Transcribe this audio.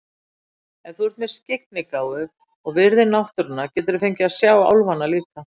Ef þú ert með skyggnigáfu og virðir náttúruna geturðu fengið að sjá álfana líka.